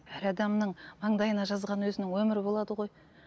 әр адамның маңдайына жазған өзінің өмірі болады ғой